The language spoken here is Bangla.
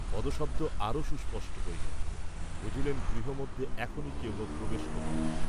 পদশব্দ আরো সুস্পষ্ট হইল, বুঝিলেন গৃহমধ্যে এখনই কেহ প্রবেশ করিবে।